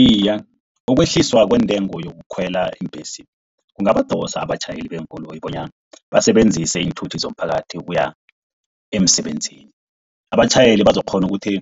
Iye, ukwehliswa kwentengo yokukhwela iimbhesi kungabadosa abatjhayeli beenkoloyi bona basebenzise iinthuthi zomphakathi ukuya emsebenzini. Abatjhayeli bazokukghona ukuthi